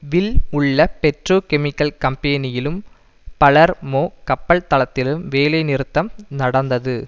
will உள்ள petrochemical கம்பேனியிலும் பலர் மோ கப்பல் தளத்திலும் வேலை நிறுத்தம் நடந்தது